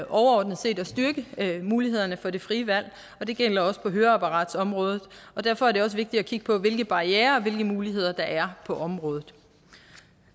overordnet set at styrke mulighederne for det frie valg og det gælder også på høreapparatsområdet derfor er det også vigtigt at kigge på hvilke barrierer og hvilke muligheder der er på området